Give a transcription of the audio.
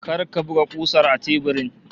Kar ka buga kusar a teburin!